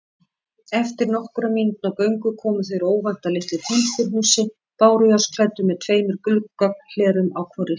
Eftir nokkurra mínútna göngu komu þeir óvænt að litlu timburhúsi, bárujárnsklæddu með tveimur gluggahlerum á hvorri hlið.